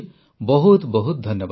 ବହୁତ ବହୁତ ଧନ୍ୟବାଦ